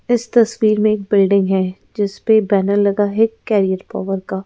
इस तस्वीर में एक बिल्डिंग है जिस पे बैनर लगा है कैरियर पावर का।